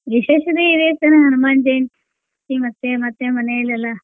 ವಿಶೇಷತೆ ಇದೆ sir ಹನುಮಾನ್ ಜಯಂತಿ ಮತ್ತೆ ಮತ್ತೆ ಮನೇಲ್ ಎಲ್ಲಾ.